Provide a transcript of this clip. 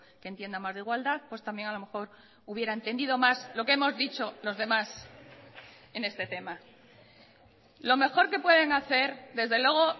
que entienda más de igualdad pues también a lo mejor hubiera entendido más lo que hemos dicho los demás en este tema lo mejor que pueden hacer desde luego